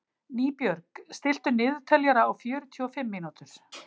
Nýbjörg, stilltu niðurteljara á fjörutíu og fimm mínútur.